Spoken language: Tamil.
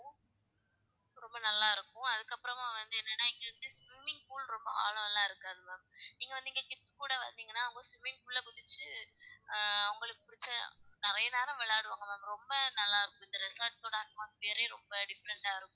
ரொம்ப நல்லா இருக்கும் அதுக்கு அப்பறமா வந்து எண்ணான இங்க வந்து swimming pool லா ரொம்ப ஆழம்லா இருக்காது ma'am நீங்க வந்து இங்க kids கூட வந்திங்கனா அவுங்க swimming pool ல ஆஹ் அவுங்களுக்கு உள்ள நிறைய நேரம் விளையாடுவாங்க ma'am ரொம்ப நல்லா இருக்கும் இந்த resort டோட atmosphere ரே ரொம்ப different டா இருக்கும்.